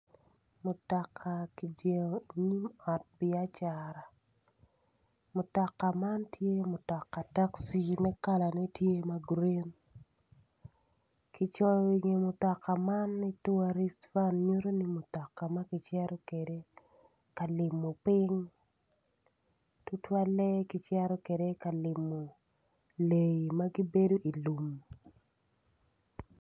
Mutoka kijengo i nyim ot bia cara mutoka man tye mutoka taci ma kalane grin kicoyo i kome ni turist van ma nyuto ni kicito kwede ka limo piny tutwalle ki cito kwede ka limo leyi ma gibedo i lum.